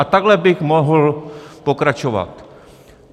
A takhle bych mohl pokračovat.